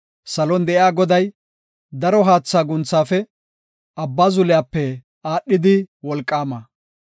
Salon de7iya Goday, daro haatha guunthaafe, abba zuliyape aadhidi wolqaama.